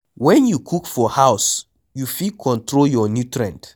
When you cook for house you fit control your nutrient